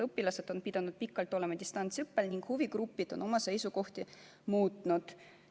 Õpilased on pidanud pikalt olema distantsõppel ning huvigrupid on oma seisukohti muutnud.